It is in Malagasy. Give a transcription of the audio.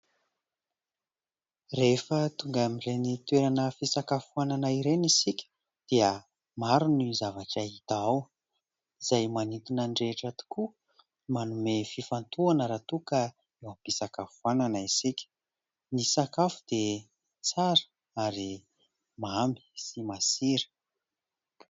Rehefa tonga amin'ireny toerana fisakafoanana ireny isika dia maro ny zavatra hita ao izay manintona ny rehetra tokoa, manome fifantohana raha toa ka eo am-pisakafoanana isika. Ny sakafo dia tsara ary mamy sy masira.